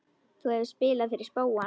Þú hefur spilað fyrir spóann?